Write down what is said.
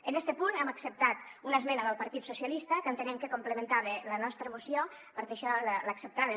en este punt hem acceptat una esmena del partit socialista que entenem que complementava la nostra moció per això l’acceptàvem